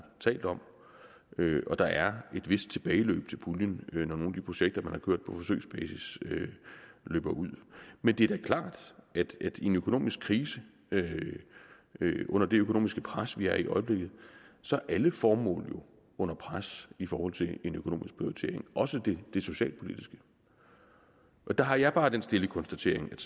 talt om og der er et vist tilbageløb til puljen når nogle af de projekter man har kørt på forsøgsbasis løber ud men det er da klart at i en økonomisk krise under det økonomiske pres vi er i i øjeblikket så er alle formål jo under pres i forhold til en økonomisk prioritering også det socialpolitiske der har jeg bare den stille konstatering at